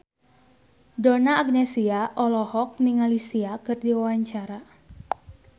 Donna Agnesia olohok ningali Sia keur diwawancara